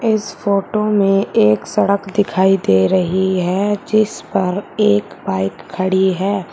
इस फोटो में एक सड़क दिखाई दे रही है जिस पर एक बाइक खड़ी है।